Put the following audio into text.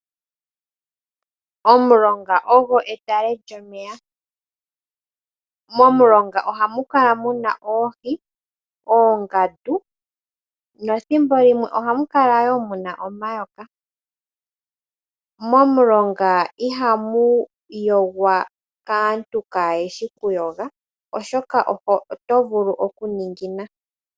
Omulonga ogwo etale lyomeya . Momulonga ohamu kala muna oohi , oongandu nethimbo limwe ohamu kala wo muna omayoka. Momulonga ihamu yogwa kaantu kaayeshi okuyoga oshoka oto vulu okuningina.